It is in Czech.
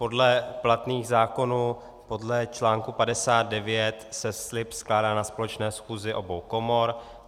Podle platných zákonů, podle článku 59 se slib skládá na společné schůzi obou komor.